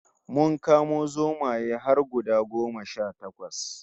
Mun kamo zomaye har guda goma sha takwas